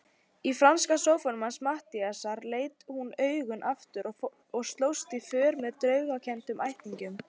Í franska sófanum hans Matthíasar lét hún augun aftur og slóst í för með draumkenndum ættingjum.